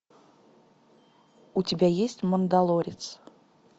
у тебя есть мандалорец